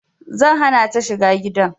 Zan hana ta shiga gidan